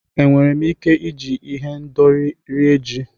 Enwere m ike iji ihendori rie ji?